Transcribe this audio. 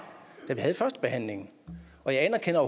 da vi havde førstebehandlingen og jeg anerkender